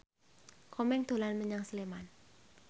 Komeng dolan menyang Sleman